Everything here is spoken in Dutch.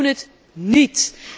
Wij doen dat niet!